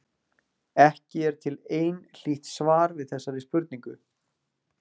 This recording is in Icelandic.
Ekki er til einhlítt svar við þessari spurningu.